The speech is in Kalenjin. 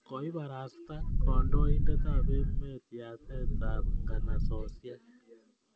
Koiparasta kandoindet ap emet yatet ap nganasosyek